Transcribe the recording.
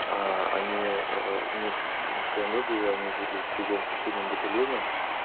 они месяц у них кмв было они жили в другом соседнем батальоне